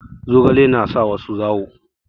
Zogale na sa wasu zawo.